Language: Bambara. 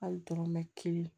Hali dɔrɔmɛ kelen